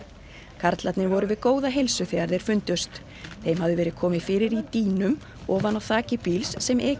karlarnir voru við góða heilsu þegar þeir fundust þeim hafði verið komið fyrir í dýnum ofan á þaki bíls sem ekið